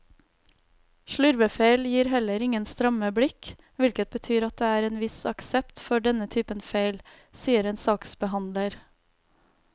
Slurvefeil gir heller ingen stramme blikk, hvilket betyr at det er en viss aksept for denne typen feil, sier en saksbehandler.